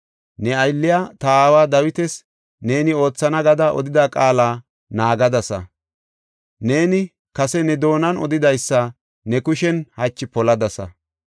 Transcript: Ne aylliya, ta aawa Dawitas neeni oothana gada odida qaala naagadasa. Neeni kase ne doonan odidaysa ne kushen hachi poladasa.